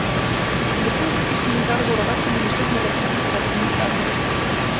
Yfir þúsund Íslendingar voru á vellinum í seinni leiknum og vöktu mikla athygli.